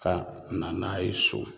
Ka na n'a ye so